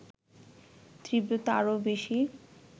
তীব্রতা আরও বেশি